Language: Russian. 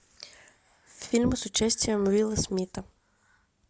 фильмы с участием уилла смита